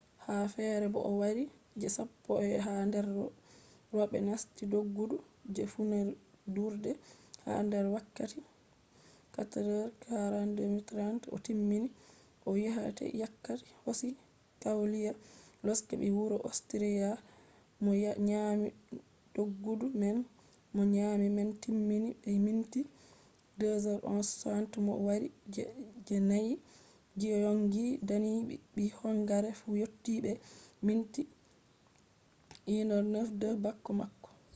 ha fere bo o wari je sappo ha nder roɓe nasti doggudu je furundurde ha nder wakkati 4:42.30 o timmini o yottai wakkati hosi klawdiya losek ɓii wuro ostriya mo nyami doggudu man mo nyami man timmini be minti 2:11.60 bo mo wari je je nai giyongi dani ɓii hongare fu yottii be minti 1:09.02 bako mako